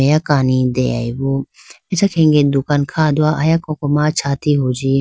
Meya kani dehoyibo acha khege dukan kha do aya koko ma chati huji.